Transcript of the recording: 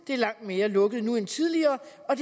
var langt mere lukket nu end tidligere og